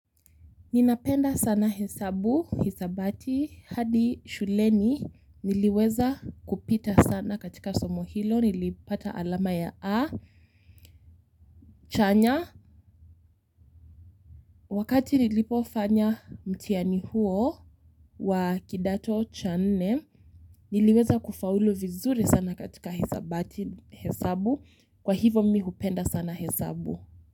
Ninapenda sana hesabu hisabati hadi shuleni niliweza kupita sana katika somo hilo nilipata alama ya A chanya wakati nilipofanya mtihani huo wa kidato cha nne, niliweza kufaulu vizuri sana katika hisabati, hesabu, kwa hivo mi hupenda sana hesabu.